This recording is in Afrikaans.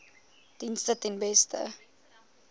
dienste ten beste